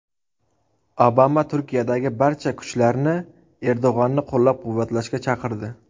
Obama Turkiyadagi barcha kuchlarni Erdo‘g‘onni qo‘llab-quvvatlashga chaqirdi.